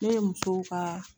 Ne ye musow ka